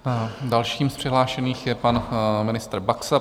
Dalším z přihlášených je pan ministr Baxa.